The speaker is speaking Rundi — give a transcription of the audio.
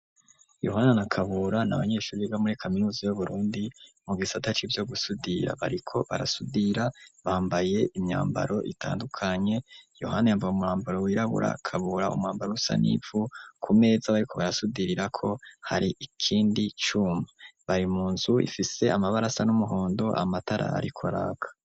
Yohana na Kabura ni abanyeshure biga muri kaminuza y'Uburundi mu gisata c'ivyo gusudira bariko barasudira bambaye imyambaro itandukanye Yohana yambaye umurambaro wirabura Kabura umwambaro usa n'ivu ku meza bariko barasudirirako hari ikindi cuma. Bari mu nzu ifise amabarasa n'umuhondo amatara ariko araka.